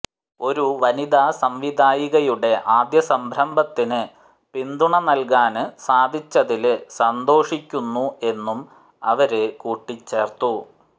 ഒരു വനിതാ സംവിധായികയുടെ ആദ്യ സംരംഭത്തിന് പിന്തുണ നല്കാന് സാധിച്ചതില് സന്തോഷിക്കുന്നു എന്നും അവര് കൂട്ടിച്ചേര്ത്തു